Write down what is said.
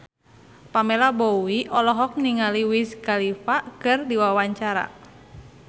Pamela Bowie olohok ningali Wiz Khalifa keur diwawancara